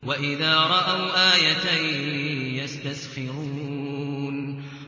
وَإِذَا رَأَوْا آيَةً يَسْتَسْخِرُونَ